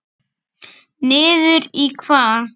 Sindri: Niður í hvað?